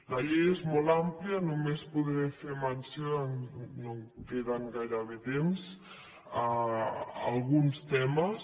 la llei és molt àmplia només podré fer menció no em queda gairebé temps a alguns temes